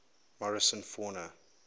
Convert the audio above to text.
morrison fauna